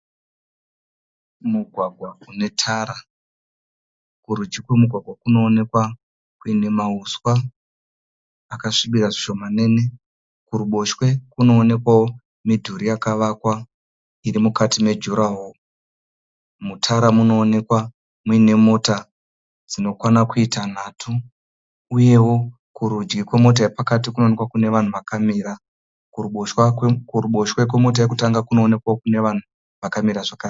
Mugwagwa unetara. Kurudyi kwemugwagwa kunoonekwa kune mauswa akasvibira zvishomanene. Kuruboshwe kunonekwawo midhuri yakavakwa iri mukati mejuraho. Mutara munonekwa mune mota dzinokwana kuita nhatu uyewo kurudyi kwemota yepakati kunoonekwa kune vanhu vakamira. Kuruboshwe kwemota yokutanga kunoonekwawo kune vanhu vakamira zvakare.